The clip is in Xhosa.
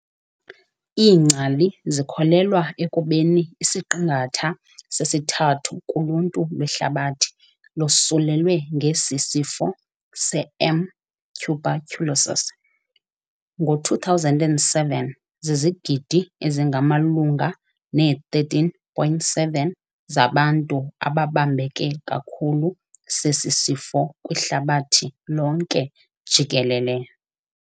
Iingcali zikholelwa ekubeni isiqingatha sesithathu kuluntu lwehlabathi losulelwe ngesi sifo se"M. tuberculosis". Ngo-2007, zizigidi ezingamalunga ne-13.7 zabantu ababambeke kakhulu sesi sifo kwihlabathi lonke jikelele.